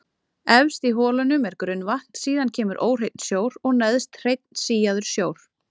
Efst í holunum er grunnvatn, síðan kemur óhreinn sjór og neðst hreinn síaður sjór.